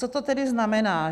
Co to tedy znamená?